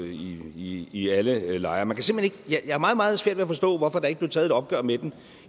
i i alle lejre jeg har meget meget svært ved at forstå hvorfor der ikke blev taget et opgør med den